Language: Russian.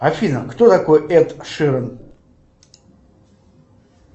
афина кто такой эд ширан